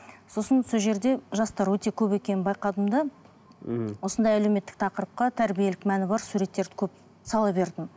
сосын сол жерде жастар өте көп екенін байқадым да мхм осындай әлеуметтік тақырыпқа тәрбиелік мәні бар суреттер көп сала бердім